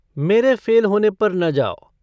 मेरे फ़ेल होने पर न जाओ।